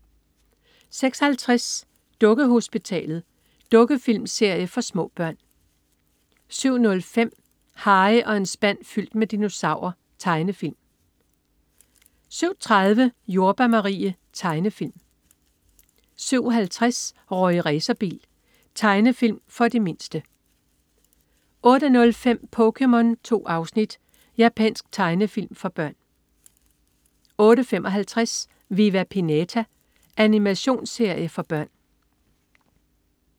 06.50 Dukkehospitalet. Dukkefilmserie for små børn 07.05 Harry og en spand fyldt med dinosaurer. Tegnefilm 07.30 Jordbær Marie. Tegnefilm 07.50 Rorri Racerbil. Tegnefilm for de mindste 08.05 POKéMON. 2 afsnit. Japansk tegnefilm for børn 08.55 Viva Pinata. Animationsserie for børn